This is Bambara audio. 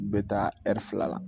Bɛ taa fila la